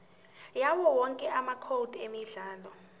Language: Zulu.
yawowonke amacode emidlalo